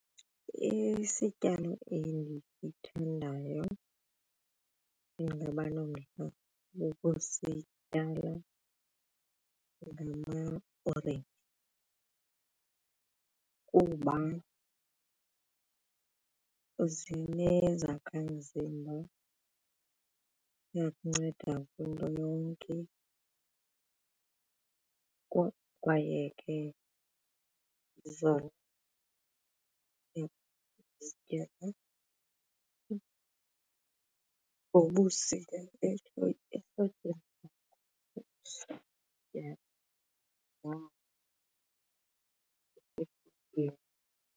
Isityalo endisithandayo endingaba nomdla wokusityala ngamaorenji kuba zinezakha mzimba iyakunceda kwinto yonke kwaye ke ngobusika .